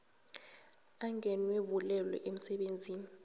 angenwe bulwelwe emsebenzini